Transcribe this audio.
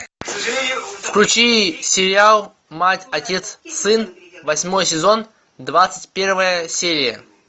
включи сериал мать отец сын восьмой сезон двадцать первая серия